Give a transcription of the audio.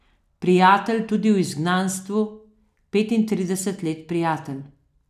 Prijatelj tudi v izgnanstvu, petintrideset let prijatelj.